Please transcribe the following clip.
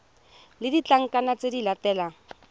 le ditlankana tse di latelang